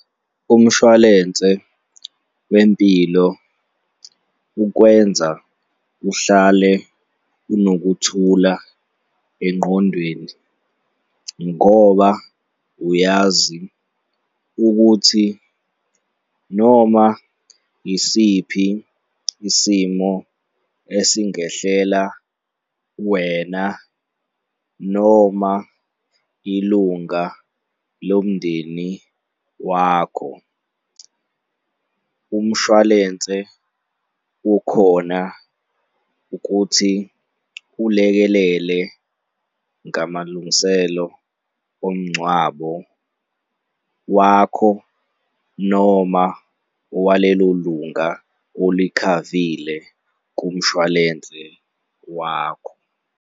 Umshwalense wempilo ukwenza uhlale unokuthula engqondweni ngoba uyazi ukuthi noma yisiphi isimo esingehlela wena noma ilunga lomndeni wakho, umshwalense ukhona ukuthi ulekelele ngamalungiselelo omngcwabo wakho noma walelo lunga olikhavile kumshwalense wakho.